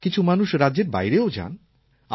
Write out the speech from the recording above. কিছু মানুষ রাজ্যের বাইরেও যান